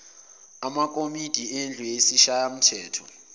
amakomidi endlu yesishayamthetho